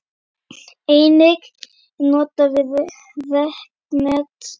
Einnig er notast við reknet.